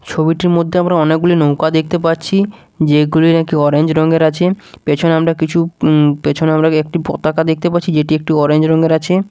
ছবিটির মধ্যে আমরা অনেকগুলি নৌকো দেখতে পাচ্ছি যেগুলি নাকি অরেঞ্জ রঙের আছে পেছনে আমরা কিছু উঁম পেছনে আমরা একটি পতাকা দেখতে পাচ্ছি যেটি একটি অরেঞ্জ রঙের আছে।